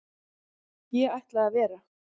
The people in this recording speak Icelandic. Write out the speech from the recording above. Ég ætla að vera.